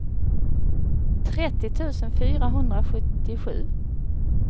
trettio tusen fyrahundrasjuttiosju